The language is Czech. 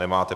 Nemáte.